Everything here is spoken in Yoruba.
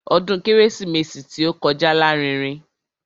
Ọdún kérésìmesì tí ó kọjá lárinrin.